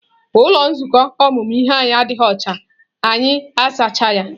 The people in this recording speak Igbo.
Ụlọ nzukọ ọmụmụ ihe anyị adịghị ọcha, anyị azacha ya.